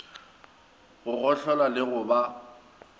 go gohlola le go ba